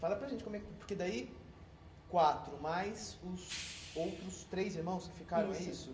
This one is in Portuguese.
Fala para a gente como é que... Porque daí, quatro mais os outros três irmãos que ficaram, é isso? Isso.